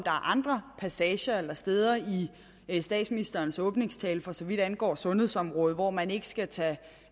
andre passager eller steder i statsministerens åbningstale for så vidt angår sundhedsområdet hvor man ikke skal tage